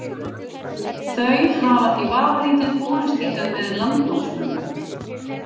Þau hafa því vafalítið borist hingað með landnámsmönnum.